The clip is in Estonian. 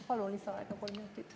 Palun lisaaega kolm minutit.